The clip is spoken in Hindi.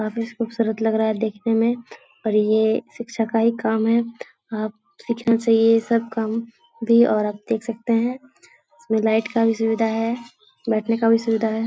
काफी खूबसूरत लग रहा है देखने में पर ये शिक्षा का ही काम है आप सीखना चाहिए ये सब काम भी और आप देख सकते है इसमें लाइट का भी सुविधा है बैठने का भी सुविधा है ।